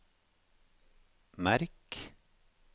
merk